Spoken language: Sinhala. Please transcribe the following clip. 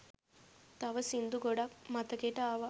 තව සින්දු ගොඩක් මතකෙට ආවා